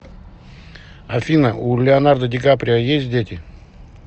афина у леонардо ди каприо есть дети